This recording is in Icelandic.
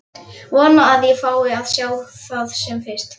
Vona að ég fái að sjá það sem fyrst.